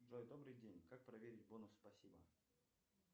джой добрый день как проверить бонус спасибо